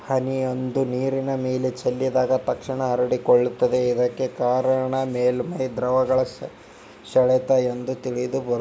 ಹನಿಯೊಂದು ನೀರಿನ ಮೇಲೆ ಚೆಲ್ಲಿದಾಗ ತಕ್ಷಣ ಹರಡಿಕೊಳ್ಳುತ್ತದ್ದೆ ಇದಕ್ಕೆ ಕಾರಣ ಮೇಲ್ಮೈ ದ್ರವಗಳ ಸೆಳೆತ ಎಂದು ತಿಳಿದು ಬರುತ್ತ--